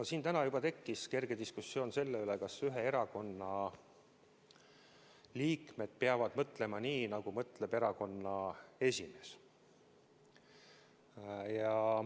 No siin täna juba tekkis kerge diskussioon selle üle, kas ühe erakonna liikmed peavad mõtlema nii, nagu mõtleb erakonna esimees.